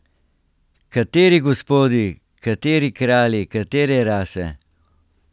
Kateri gospodi, kateri kralji, katere rase?